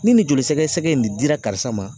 Ni nin jolisɛgɛsɛgɛ in de dira karisa ma